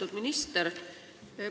Lugupeetud minister!